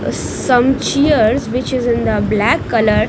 Uh some chairs which is in the black color.